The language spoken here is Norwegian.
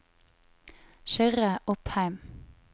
Kyrre Opheim